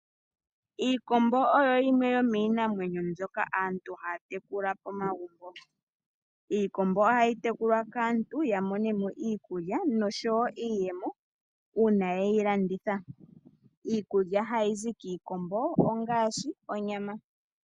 Aantu oyendje oye hole okumuna iikombo oshoka oyo hayi iindjipala mbala. Iikombo ohayi tekulilwa wumone mo onyama, omahini nosho tuu. Aantu ohaya vulu okulanditha oshikombo shina omwenyo nenge onyama yoshikombo opo yimone mo iimaliwa yokwiikwatha nayo.